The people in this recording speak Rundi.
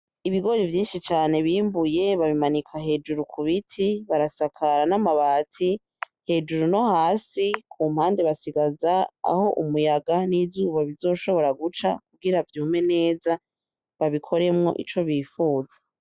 Ibigori vyinshi cane bimbuye babimanika hejuru cane kubiti barasakara n’amabati hejuru nohasi kumpande basigaza aho umuyaga n’izuba bizoshobora guca kugira vyume neza babikoremo ico bifuza.